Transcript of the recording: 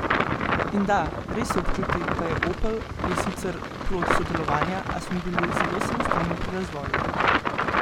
In da, res se občuti, da je Opel, je sicer plod sodelovanja, a smo bili zelo samostojni pri razvoju.